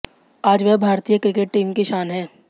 आज वह भारतीय क्रिकेट टीम की शान हैं